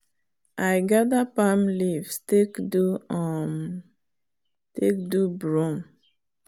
i gather palm leaves take do um broom.